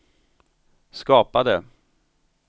skapade